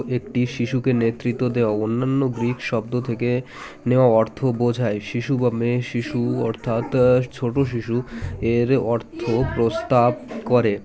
একটি শিশুকে নেতৃত্ব দেওয়া অন্যান্য গ্রীক শব্দ থেকে নেওয়া অর্থ বোঝায় শিশু বা মেয়ে অর্থাৎ ছোটো শিশু এর অর্থ প্রস্তাব করে